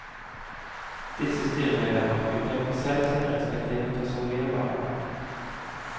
Disse styremedlemmer utpeker selv sine respektive personlige varamenn.